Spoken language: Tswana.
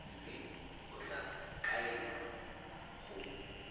mme o tla kaelwa go